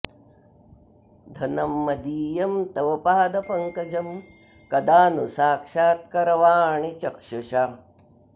धनं मदीयं तव पादपङ्कजं कदा नु साक्षात्करवाणि चक्षुषा